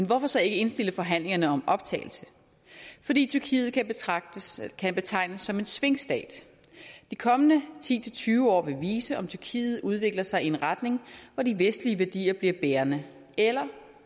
hvorfor så ikke indstille forhandlingerne om optagelse fordi tyrkiet kan betegnes som en svingstat de kommende ti til tyve år vil vise om tyrkiet udvikler sig i en retning hvor de vestlige værdier bliver bærende eller